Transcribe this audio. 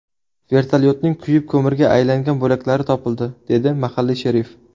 Vertolyotning kuyib ko‘mirga aylangan bo‘laklari topildi”, dedi mahalliy sherif.